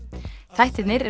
þættirnir